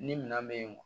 Ni minan bɛ yen